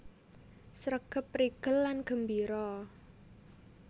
Sregep prigel lan gembira